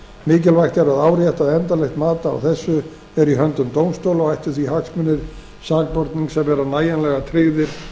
mikilvægt er að árétta að endanlegt mat á þessu er í höndum dómstóla og ættu því hagsmunir sakbornings að vera nægjanlega tryggðir